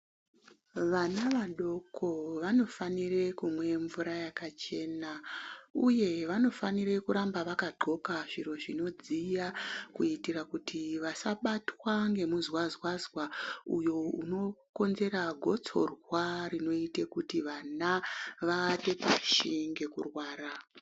Vana vadoko vanofanire kumwe mvura yakachena uye vanofanire kuramba vakandxoka zviro zvinodziya kuitira kuti vasabatwa ngemuzwazwazwa uyo unokonzera gotsorwa rinoite kuti vana vaate pashi ngekurwara.